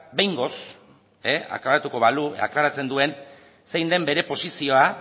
behingoz aklaratzen duen zein den bere posizioa